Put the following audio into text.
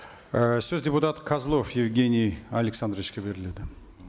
ы сөз депутат козлов евгений александровичке беріледі